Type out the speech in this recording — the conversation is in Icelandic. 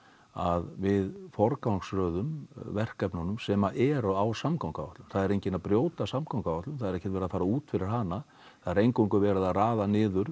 að við forgangsröðum verkefnunum sem eru á samgönguáætlun það er enginn að brjóta samgönguáætlun það er ekkert verið að fara út fyrir hana það er eingöngu verið að raða niður